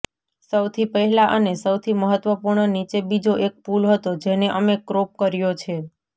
સૌથી પહેલાં અને સૌથી મહત્વપૂર્ણ નીચે બીજો એક પુલ હતો જેને અમે ક્રોપ કર્યો છે